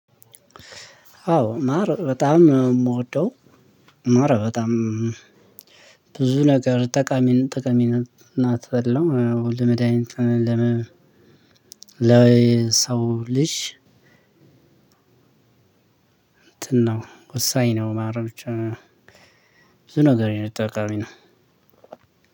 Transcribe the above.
አዎ ማር በጣም እምወደው ማር በጣም ብዙ ነገር ጠቃሚ ጠቃሚ ነው። እናት አለው ለመዳኒት ለመ ለ ሰው ልጅ። እንትን ነው ወሳኝ ነው። ማረፍ ብቻ ብዙ ነገር ነው የጠቃሚ ነው።